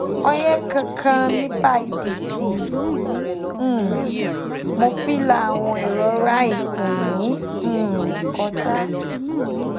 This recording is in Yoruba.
oye kan kan nipa idi ti um mo fi la awon irora ikun yi um koja?